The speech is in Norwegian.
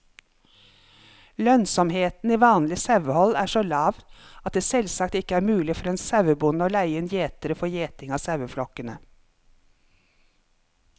Lønnsomheten i vanlig sauehold er så lav at det selvsagt ikke er mulig for en sauebonde å leie inn gjetere for gjeting av saueflokkene.